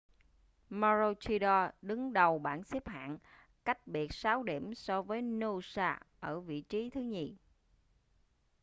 maroochydore đứng đầu bảng xếp hạng cách biệt sáu điểm so với noosa ở vị trí thứ nhì